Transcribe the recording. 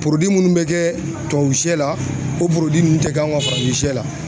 minnu bɛ kɛ tubabu sɛ la o ninnu tɛ k'an ka farafin sɛ la